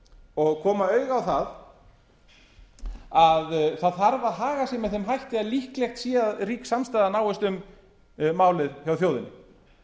og koma auga á það að það þarf að haga sér með þeim hætti að líklegt sé að samstaða náist um málið hjá þjóðinni